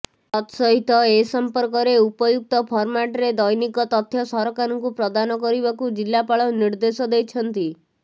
ତତ୍ସହିତ ଏ ସଂପର୍କରେ ଉପଯୁକ୍ତ ଫର୍ମାଟରେ ଦୈନିକ ତଥ୍ୟ ସରକାରଙ୍କୁ ପ୍ରଦାନ କରିବାକୁ ଜିଲ୍ଲାପାଳ ନିର୍ଦ୍ଧେଶ ଦେଇଛନ୍ତି